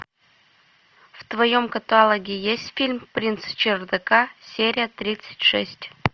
в твоем каталоге есть фильм принц чердака серия тридцать шесть